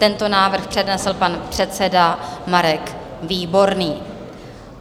Tento návrh přednesl pan předseda Marek Výborný.